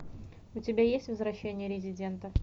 у тебя есть возвращение резидента